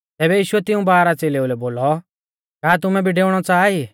तैबै यीशुऐ तिऊं बारह च़ेलेऊ लै बोलौ का तुमै भी डेऊणौ च़ाहा ई